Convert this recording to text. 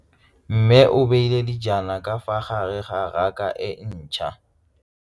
Mmê o beile dijana ka fa gare ga raka e ntšha.